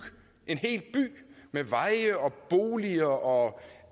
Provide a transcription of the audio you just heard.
en hel by med veje og boliger og